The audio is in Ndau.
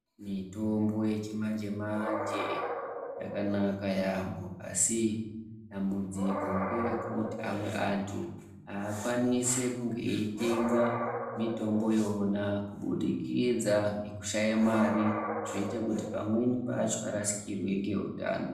Mitombo yechimanje-manje yakanaka yaampho asi dambudziko ngerekuti amwe antu, aakwanisi kunge eitenga mitombo yona kubudikidza ngekushaya mare zveite kuti pamweni pacho arasikirwe ngeutano.